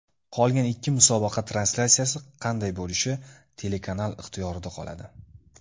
Qolgan ikki musobaqa translyatsiyasi qanday bo‘lishi telekanal ixtiyorida qoladi.